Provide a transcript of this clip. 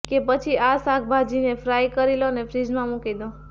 કે પછી આ શાકભાજીને ફ્રાઈ કરી લો અને ફ્રિઝમાં મુકી દો